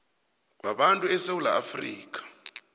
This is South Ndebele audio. wabantu esewula afrika